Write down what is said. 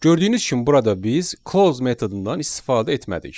Gördüyünüz kimi burada biz close metodundan istifadə etmədik.